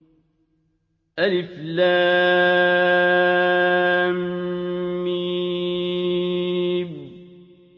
الم